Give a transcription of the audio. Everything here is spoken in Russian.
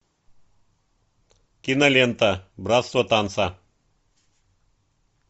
кинолента братство танца